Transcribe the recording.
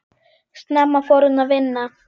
Snemma fór hún að vinna.